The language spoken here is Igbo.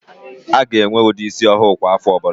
A ga-enwe ụdị ísí ọhụụ kwa áfọ̀ ọbụla.